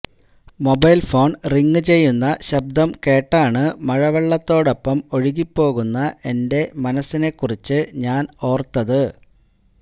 mobile phone ring ചെയ്യുന്ന ശബ്ദം കേട്ടാണ് മഴവെള്ളത്തോടൊപ്പം ഒഴുകിപ്പോകുന്ന എന്റെ മനസ്സിനെ കുറിച്ച് ഞാൻ ഓർത്തത്